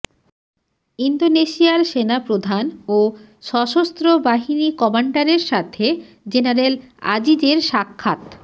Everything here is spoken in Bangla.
ইন্দোনেশিয়ার সেনাপ্রধান ও সশস্ত্র বাহিনী কমান্ডারের সাথে জেনারেল আজিজের সাক্ষাৎ